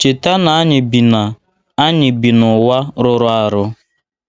Cheta na anyị bi na anyị bi n’ụwa rụrụ arụ.